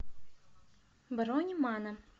бронь мано